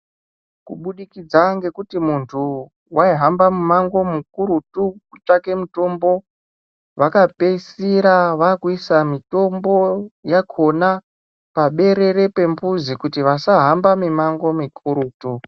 Kuburikidza ngekuti muntu waihamba mumango mukurutu kutsvake mitombo, vakapedzisira vakuisa mitombo yakona paberere pembuzi, kuti vasahamba mimango mikurutu.